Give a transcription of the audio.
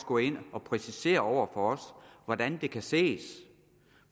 gå ind og præcisere over for os hvordan det kan ses